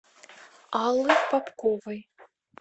аллы попковой